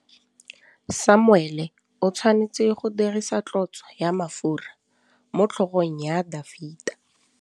Samuele o tshwanetse go dirisa tlotsô ya mafura motlhôgong ya Dafita.